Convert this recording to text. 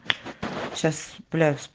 сейчас плюс